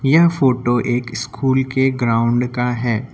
यह फोटो एक स्कूल के ग्राउंड का है।